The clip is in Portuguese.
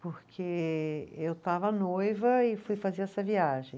Porque eu estava noiva e fui fazer essa viagem.